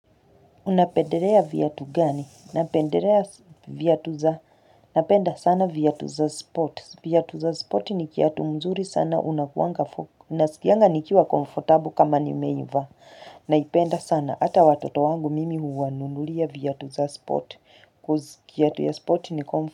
Unapenderea viatu gani napenderea vyatu za napenda sana vyatu za sports vyatu za spoti ni kiatu mzuri sana unakuanga unasikianga nikiwa komfortable kama nimeiva naipenda sana ata watoto wangu mimi huwa nunulia vyatu za spot koz kiatu ya spot ni komfortabu.